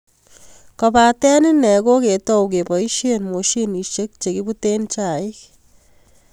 Kobatee inee, ko koketou kesboisie moshinishe che kibuee chaik.